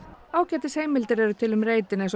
ágætis heimildir eru til um reitinn eins og